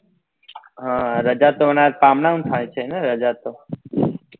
હા રાજા તો ન થાય છે ને રજા તો